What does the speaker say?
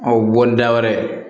O bɔli da wɛrɛ